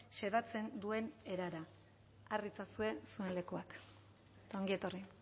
xedatzen duen erara har ditzazue zuen lekuak ongi etorri